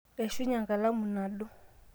eishunye enkalamu nadu